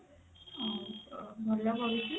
ଆଉ ଅ ଭଲ ପଡିଛି